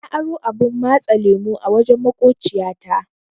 Na aro abun matsa lemu a wajen maƙociya ta.